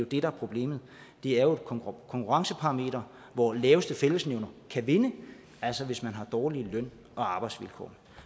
det der er problemet det er jo et konkurrenceparameter hvor laveste fællesnævner kan vinde altså hvis man har dårlige løn og arbejdsvilkår